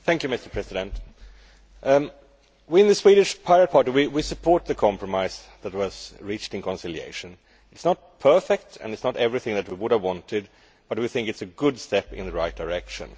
Mr President, we in the Swedish Pirate Party support the compromise that was reached in conciliation. It is not perfect and it is not everything we would have wanted, but we think it is a good step in the right direction.